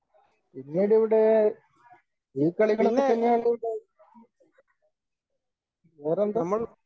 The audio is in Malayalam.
പിന്നീടിവിടെ ഈ കളികളൊക്കെ തന്നെയാണുള്ളത്. വേറെന്താ?